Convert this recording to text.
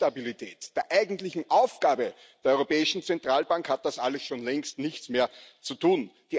Mit Preisstabilität, der eigentlichen Aufgabe der Europäischen Zentralbank, hat das alles schon längst nichts mehr zu tun.